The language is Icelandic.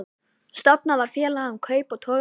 Stofnað var félag um kaup á togaranum